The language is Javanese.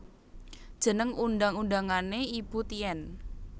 Jeneng undang undangané Ibu Tien